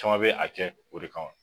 Caman bɛ a kɛ o de kama.